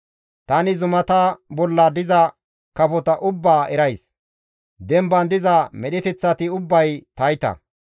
Tani zumata bolla diza kafota ubbaa erays; demban diza medheteththati ubbay tayta.